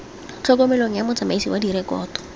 tlhokomelong ya motsamaisi wa direkoto